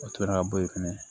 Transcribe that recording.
O tora ka bɔ yen fɛnɛ